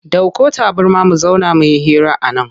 Dauko tabarma mu zauna muyi hira a nan.